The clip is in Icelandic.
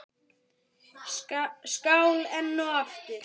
Skál enn og aftur!